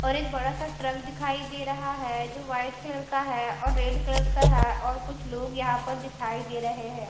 और एक बड़ा सा ट्रक दिखाई दे रहा है जो व्हाईट कलर का है और रेड कलर का है और कुछ लोग यहाँ पर दिखाई दे रहे हैं।